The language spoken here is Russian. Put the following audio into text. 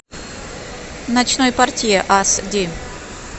ночной портье ас ди